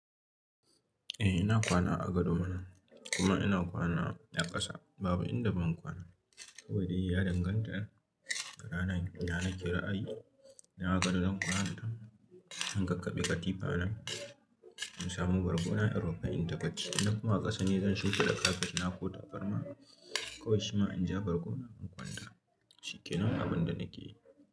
Eh ina kwana a gado mana, kuma ina kwana a ƙasa. Babu inda ban kwana ba. Kowai dai ya danganta da ranar ina nake ra a yi. In a gado zan kwana a to, in kakkabe katifa na, in samu bargo na, in rufe inta bacci. Ina koma ƙasa ne zan shunfida da kafet na ko tabarma. Kowai shima in ja bargo na, in kwanta. Shi kenan abin da nake yi.